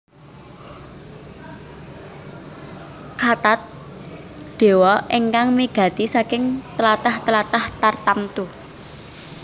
Kathat dewa ingkang migati saking tlatah tlatah tartamtu